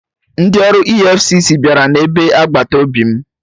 Ndị ọrụ EFCC bịara na be agbata obi m